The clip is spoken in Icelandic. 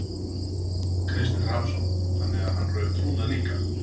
Kristinn Hrafnsson: Þannig að hann rauf trúnað líka?